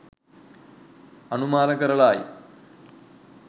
අනුමාන කරලායි.